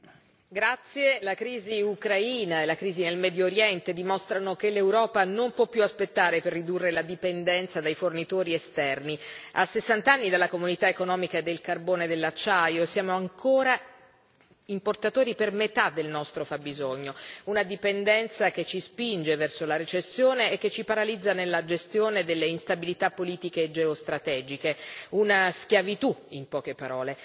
Signor Presidente, onorevoli colleghi, la crisi Ucraina, la crisi nel Medio Oriente dimostrano che l'Europa non può più aspettare per ridurre la dipendenza dai fornitori esterni. A sessant'anni dalla Comunità economica del carbone e dell'acciaio siamo ancora importatori per metà del nostro fabbisogno, una dipendenza che ci spinge verso la recessione e che ci paralizza nella gestione delle instabilità politiche e geostrategiche, una schiavitù, in poche parole.